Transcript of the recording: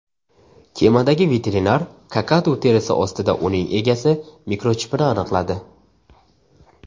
Kemadagi veterinar kakadu terisi ostida uning egasi mikrochipini aniqladi.